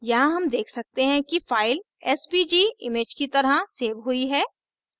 यहाँ हम देख सकते हैं कि file svg image की तरह सेव हुई है